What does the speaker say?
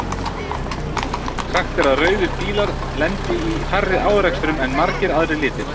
Sagt er að rauðir bílar lendi í færri árekstrum en margir aðrir litir.